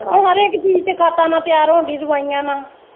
ਹਰ ਇੱਕ ਚੀਜ਼ ਤਾ ਖਾਧਾ ਨਾ ਤਿਆਰ ਹੋਣ ਦੀ ਆ ਦਵਾਈਆਂ ਨਾ।